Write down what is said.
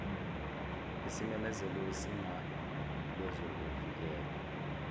isimemezelo sezinga lezokuvikela